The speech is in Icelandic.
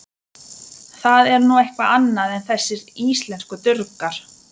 Það er nú eitthvað annað en þessir íslensku durgar.